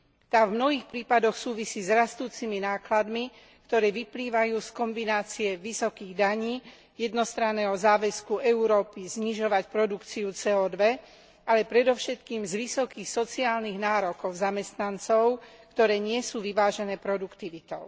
Tá v mnohých prípadoch súvisí s rastúcimi nákladmi, ktoré vyplývajú z kombinácie vysokých daní, jednostranného záväzku Európy znižovať produkciu CO ale predovšetkým z vysokých sociálnych nárokov zamestnancov, ktoré nie sú vyvážené produktivitou.